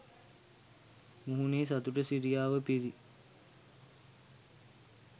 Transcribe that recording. මුහුණේ සතුට සිරියාව පිරී